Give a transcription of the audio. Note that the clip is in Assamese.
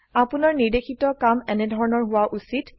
আপোনাৰ নিৰ্দেশিত কাম এনেধৰনৰ হোৱা উচিত